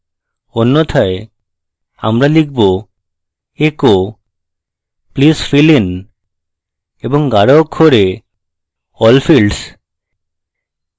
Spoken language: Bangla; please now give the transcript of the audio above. অন্যথায় আমরা লিখবecho please fill in এবং গাঢ় অক্ষরে all fields